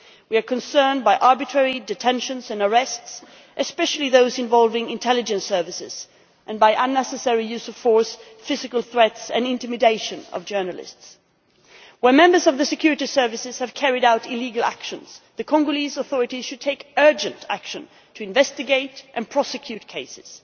We are concerned by arbitrary detentions and arrests, especially those involving intelligence services, and by unnecessary use of force, physical threats and intimidation of journalists. Where members of the security services have carried out illegal actions, the Congolese authorities should take urgent action to investigate and prosecute cases.